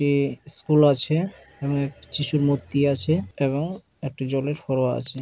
এ school আছে এবং যীশুর মূর্তি আছে এবং একটি জলের ফোয়ারা আছে।